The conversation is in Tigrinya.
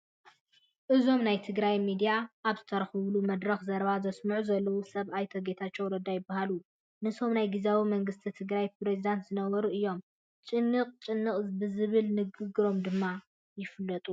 እዞም ናይ ትግራይ ሚድያታት ኣብ ዝተረኸባሉ መድረኽ ዘረባ ዘስምዑ ዘለዉ ሰብ ኣይተ ጌታቸው ረዳ ይበሃሉ፡፡ ንሶም ናይ ግዚያዊ መንግስቲ ትግራይ ፕረዚደንት ዝነበሩ እዮም፡፡ ጭንቕ ጭንቕ ብዝብል ንግግሮም ድማ ይፍለጡ፡፡